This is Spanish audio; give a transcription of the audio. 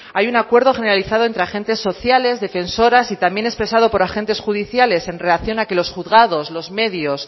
hay un acuerdo generalizado entre agentes sociales defensoras y también expresado por agentes judiciales en relación a que los juzgados los medios